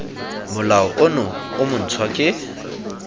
molao ono o montshwa ke